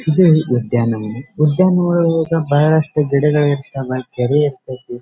ಇದು ಉದ್ಯಾನವನ ಉದ್ಯಾವನದಲ್ಲಿ ಬಹಳಷ್ಟು ಗಿಡಗಳು ಇರ್ತಾವೆ ಕೆರೆಗಳು ಇರ್ತತೇ.